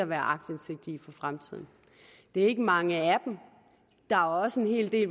være aktindsigt i for fremtiden det ikke mange af dem der er også en hel del